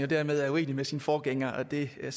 dermed er uenig med sin forgænger det er